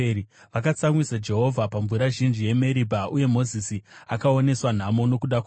Vakatsamwisa Jehovha pamvura zhinji yeMeribha, uye Mozisi akaoneswa nhamo nokuda kwavo;